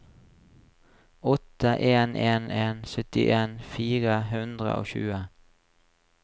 åtte en en en syttien fire hundre og tjue